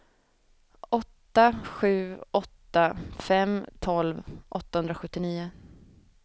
åtta sju åtta fem tolv åttahundrasjuttionio